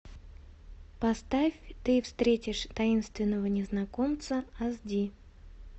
поставь ты встретишь таинственного незнакомца ас ди